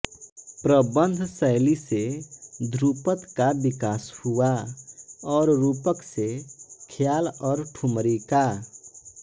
प्रबंध शैली से ध्रुपद का विकास हुआ और रूपक से ख्याल और ठुमरी का